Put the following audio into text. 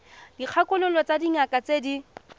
dikgakololo tsa dingaka tse di